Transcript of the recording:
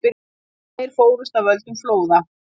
Tveir fórust af völdum flóða